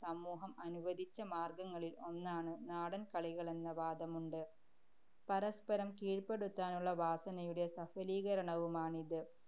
സമൂഹം അനുവദിച്ച മാര്‍ഗങ്ങളില്‍ ഒന്നാണ് നാടന്‍കളികളെന്ന വാദമുണ്ട്. പരസ്പരം കീഴ്പ്പെടുത്താനുള്ള വാസനയുടെ സഫലീകരണവുമാണിത്.